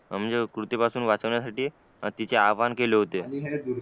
म्हणजे कृती पासून वाचविण्यासाठी तिचे अहवाहन केले होते